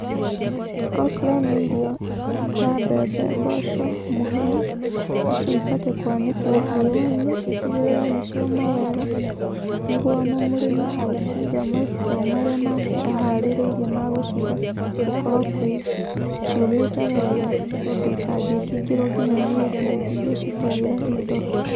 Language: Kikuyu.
Okorwo nĩ irio ta mbembe mboco, mũhĩa, icio ibatiĩ kwanĩkwo riũa-inĩ itigĩrĩre nĩ cioma wega nĩguo ona mũrĩmi agĩciga ma store marĩa make aharĩrĩirie ma gũciga gũkorwo kwĩ, ciũmĩte wega ũndũ itangĩkĩingĩrwo nginya nĩ ndundu iria cingagĩra indo.